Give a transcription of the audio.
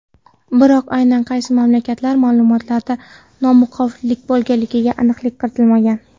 Biroq aynan qaysi mamlakatlar ma’lumotlarida nomuvofiqliklar bo‘lganiga aniqlik kiritilmagan.